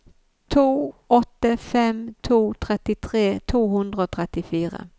to åtte fem to trettitre to hundre og trettifire